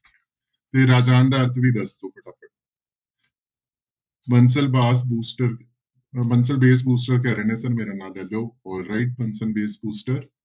ਤੇ ਰਾਜਾਨ ਦਾ ਅਰਥ ਵੀ ਦੱਸ ਦਓ ਫਟਾਫਟ ਬੰਸਲ ਬੂਸਟਰ ਬੰਸਲ ਬੂਸਟਰ ਕਹਿ ਰਹੇ ਨੇ ਨਾਂ ਸਰ ਮੇਰਾਂ ਨਾਂ all right ਬੰਸਲ ਬੂਸਟਰ